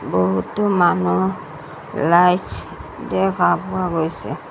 বহুতো মানুহ light show দেখা পোৱা গৈছে।